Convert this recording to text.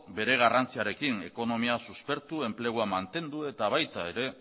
bere garrantziarekin ekonomia suspertu enplegua mantendu eta baita